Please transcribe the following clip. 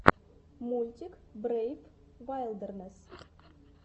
мультик брейв вайлдернесс